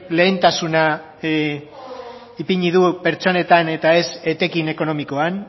lehentasuna ipini du pertsonetan eta ez etekin ekonomikoan